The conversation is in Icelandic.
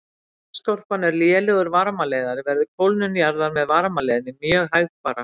Þar sem jarðskorpan er lélegur varmaleiðari verður kólnun jarðar með varmaleiðni mjög hægfara.